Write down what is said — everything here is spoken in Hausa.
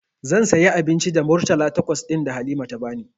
Zan sayi abinci da Murtala takwas ɗin da Halima ta bani.